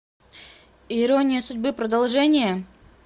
ирония судьбы продолжение